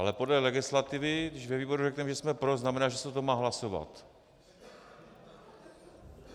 Ale podle legislativy, když ve výboru řekneme, že jsme pro, znamená, že se o tom má hlasovat.